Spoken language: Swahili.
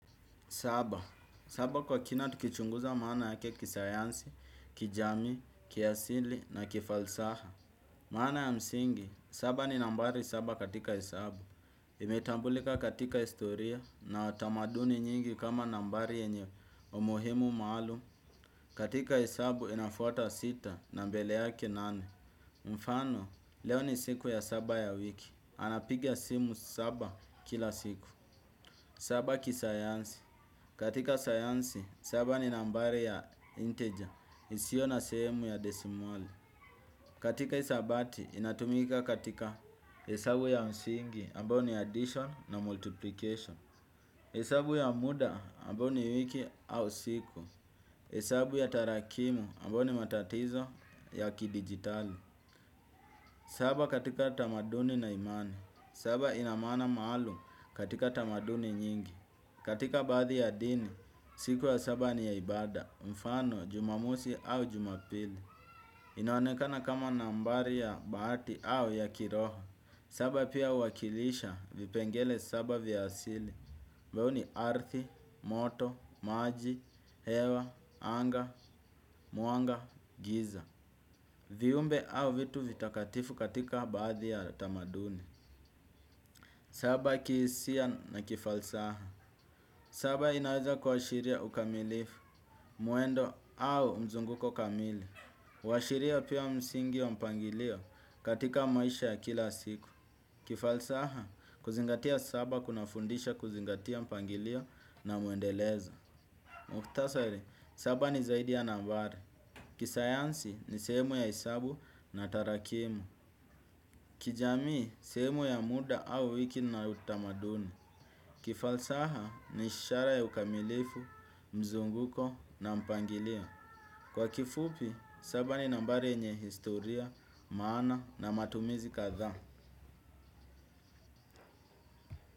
Saba. Saba kwa kina tukichunguza maana yake kisayansi, kijami, kiasili na kifalsafa. Maana ya msingi, saba ni nambari saba katika hesabu. Imetambulika katika historia na tamaduni nyingi kama nambari yenye umuhimu maalum. Katika hesabu inafuata sita na mbele yake nane. Mfano, leo ni siku ya saba ya wiki. Anapiga simu saba kila siku. Saba kisayansi. Katika sayansi, saba ni nambari ya inteja. Isiyo na sehemu ya desimali. Katika hisabati, inatumika katika hesabu ya msingi, ambao ni addition na multiplication. Hesabu ya muda, ambao ni wiki au siku. Hesabu ya tarakimu, ambayo ni matatizo ya kidigitali. Saba katika tamaduni na imani. Saba ina maana maalum katika tamaduni nyingi. Katika baadhi ya dini, siku ya saba ni ya ibada, mfano, jumamosi au jumapili. Inaonekana kama nambari ya baati au ya kiroho. Saba pia uwakilisha vipengele saba vya asili. Ambavyo ni arthi, moto, maji, hewa, anga, mwanga, giza. Viumbe au vitu vitakatifu katika baadhi ya tamaduni. Saba kihisia na kifalsafa. Saba inaweza kuashiria ukamilifu, mwendo au mzunguko kamili. Uashiria pia msingi wa mpangilio katika maisha ya kila siku. Kifalsafa kuzingatia saba kuna fundisha kuzingatia mpangilio na muendelezo. Mukhtasari, saba ni zaidi ya nambari. Kisayansi ni sehemu ya hesabu na tarakimu. Kijamii, sheemu ya muda au wiki na utamaduni. Kifalsafa ni ishara ya ukamilifu, mzunguko na mpangilio. Kwa kifupi, saba ni nambari yenye historia, maana na matumizi kadhaa.